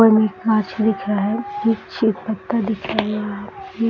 और एक दिख रहा है दिख रहा है यहाँ ये --